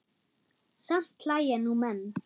Samt hlæja nú menn.